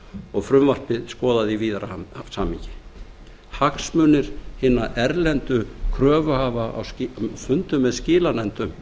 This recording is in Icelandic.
og frumvarpið skoðað í víðara samhengi hagsmunir hinna erlendu kröfuhafa á fundum með skilanefndum